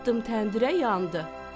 Atdım təndirə yandı.